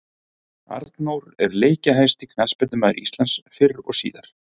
Arnór er leikjahæsti knattspyrnumaður Íslands fyrr og síðar.